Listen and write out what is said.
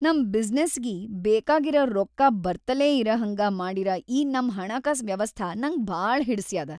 ನಮ್ ಬಿಸನಸ್ಸಿಗಿ ಬೇಕಾಗಿರ ರೊಕ್ಕಾ ಬರ್ತಲೇ ಇರಹಂಗ ಮಾಡಿರ ‌ಈ ನಮ್‌ ಹಣಕಾಸ್ ವ್ಯವಸ್ಥಾ ನಂಗ್ ಭಾಳ ಹಿಡಸ್ಯಾದ.